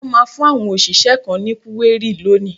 Wọ́n máa fún àwọn òṣìṣẹ́ kan ní kúérì lónìí.